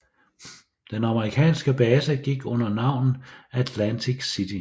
Den amerikanske base gik under navnet Atlantic City